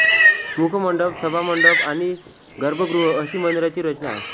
मुखमंडप सभामंडप आणि गर्भगृह अशी मंदिराची रचना आहे